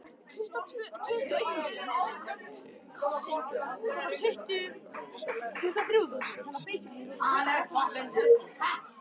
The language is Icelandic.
Heyrði að þeytispjaldið stundi upp afsökun í þessari skyndilegu ringulreið.